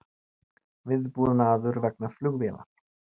Viðbúnaður vegna flugvélar